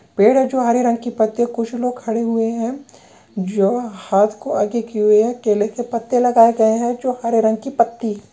पेड़ है जो हरे रंग की पत्तियां कुछ लोग खड़े हुए हैं जो हाथ को आगे किए हुए हैं केले के पत्ते लगाए गए हैं जो हरे रंग की पत्ती--